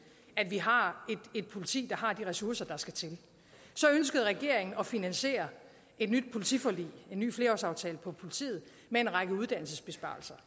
at vi har et politi der har de ressourcer der skal til så ønskede regeringen at finansiere et nyt politiforlig en ny flerårsaftale for politiet med en række uddannelsesbesparelser